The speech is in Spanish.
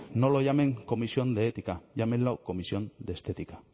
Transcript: no lo llamen comisión de ética llámenlo comisión de estética